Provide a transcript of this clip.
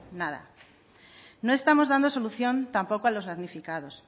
nada no estamos dando solución tampoco a los damnificados